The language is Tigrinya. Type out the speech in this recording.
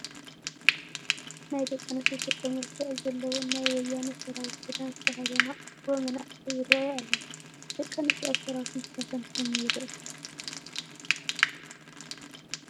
ናይ ደቂ ኣንስዮ ገፀ መልክዕ ዘለወን ናይ ወያነ ሰራዊት ክዳን ዝተኸደና ኣፍሮ መናእሰይ ይርአያ ኣለዋ፡፡ ደቂ ኣንስትዮ ኣብ ሰራዊት ምስታፈን ከመይ ይርአ?